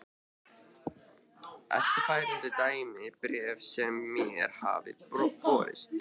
Eftirfarandi er dæmi um bréf sem mér hafa borist